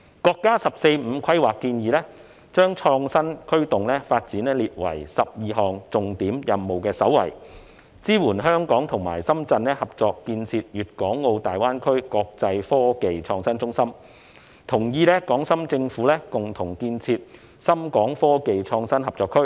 國家"十四五"規劃建議把創新驅動發展列為12項重點任務的首位，支援香港和深圳合作建設粵港澳大灣區國際科技創新中心，同意港深政府共同建設深港科技創新合作區。